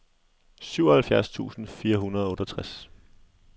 syvoghalvfjerds tusind fire hundrede og otteogtres